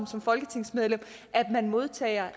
som folketingsmedlem modtager